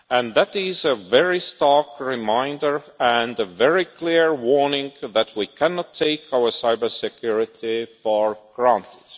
week. That is a very stark reminder and a very clear warning that we cannot take our cybersecurity for granted.